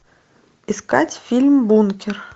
искать фильм бункер